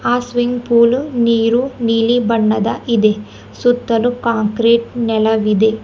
ಆ swimming pool ನೀರು ನೀಲಿ ಬಣ್ಣದ ಇದೆ ಸುತ್ತಲೂ ಕಾಂಕ್ರೀಟ್ ನೆಲವಿದೆ.